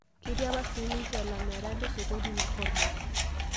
Ketii apa sii ninche lamirak le sokoni ina kormoj